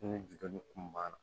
Ni jutɔn kun banna